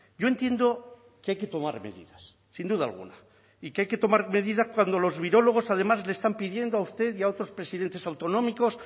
yo entiendo que hay que tomar medidas sin duda alguna y que hay que tomar medidas cuando los virólogos además le están pidiendo a usted y a otros presidentes autonómicos